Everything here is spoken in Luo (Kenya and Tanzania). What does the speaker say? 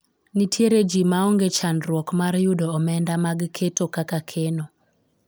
nitiere jii ma onge chandruok mar yudo omenda mag keto kaka keno